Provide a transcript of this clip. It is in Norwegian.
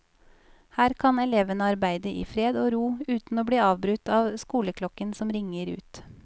Her kan elevene arbeide i fred og ro uten å bli avbrutt av skoleklokken som ringer ut.